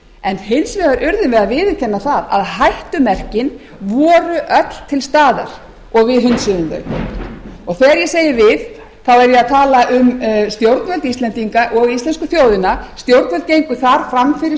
en hins vegar urðum við að viðurkenna það að hættumerkin vorum öll til staðar og við hunsuðum þau þegar ég segi við þá er ég að tala um stjórnvöld íslendinga og íslensku þjóðina stjórnvöld gengu þar fram fyrir